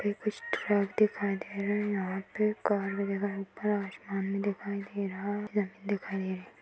भी कुछ ट्रक दिखाई दे रहें हैं। यहाँ पे काले रंग का आसमान भी दिखाई दे रहा है। जमीन दिखाई ड़े रही।